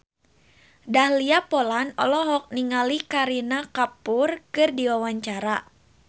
Dahlia Poland olohok ningali Kareena Kapoor keur diwawancara